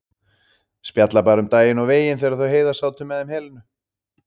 Spjallað bara um daginn og veginn þegar þau Heiða sátu með þeim Helenu.